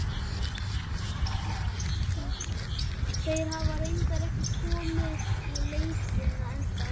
Þeir hafa reyndar ekki komið í leitirnar ennþá.